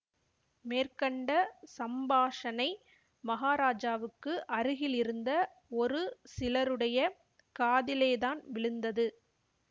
மேற்கண்ட சம்பாஷணை மகாராஜாவுக்கு அருகிலிருந்த ஒரு சிலருடைய காதிலேதான் விழுந்தது